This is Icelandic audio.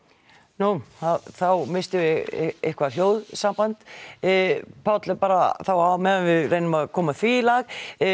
nú þá misstum við eitthvað hljóðsamband Páll bara á meðan við reynum að koma því í lag